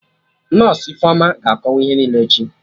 Nọsụ Ifeoma ga-akọwa ihe niile echi